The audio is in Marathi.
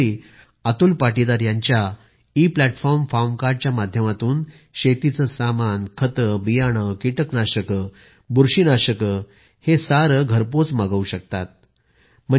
हे शेतकरी अतुल पाटीदार यांच्या इ प्लॅटफॉर्म फार्म कार्ड च्या माध्यमातून शेतीचे सामान खते बियाणे कीटकनाशके बुरशीनाशके इत्यादीं घरपोच मागवू शकतात